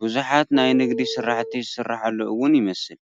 ብዙሓት ናይ ንግዲ ስራሕቲ ዝስራሓሉ እውን ይመስል፡፡